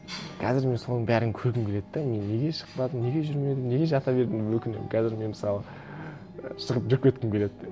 қазір мен соның бәрін көргім келеді де мен неге шықпадым неге жүрмедім неге жата бердім деп өкінемін қазір мен мысалы шығып жүріп кеткім келеді де